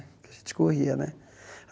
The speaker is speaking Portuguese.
Porque a gente corria, né?